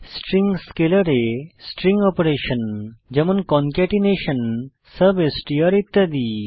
string স্কেলারে string operation যেমন concatenation substr ইত্যাদি